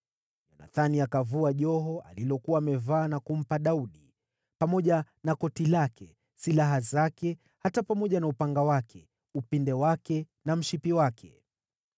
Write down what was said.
Yonathani akavua joho alilokuwa amevaa na kumpa Daudi, pamoja na koti lake, silaha zake, hata pamoja na upanga wake, upinde wake na mshipi wake.